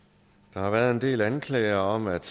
der har været en del anklager om at